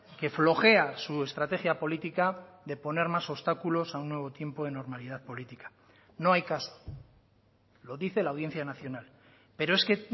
que flojea su estrategia política de poner más obstáculos a un nuevo tiempo de normalidad política no hay caso lo dice la audiencia nacional pero es que